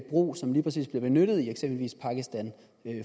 brug som lige præcis bliver benyttet i eksempelvis pakistan